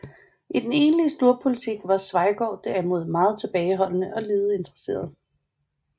I den egentlige storpolitik var Schweigaard derimod meget tilbageholdende og lidet interesseret